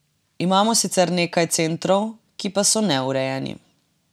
Imamo sicer nekaj centrov, ki pa so neurejeni.